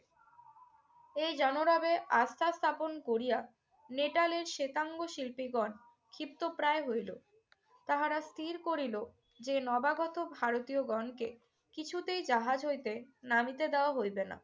এই জনরবে আস্থা স্থাপন করিয়া নেটালের শেতাঙ্গ শিল্পীগণ ক্ষিপ্তপ্রায় হইল। তাহারা স্থির করিল যে নবাগত ভারতীয়গণকে কিছুতেই জাহাজ হইতে নামিতে দেওয়া হইবে না।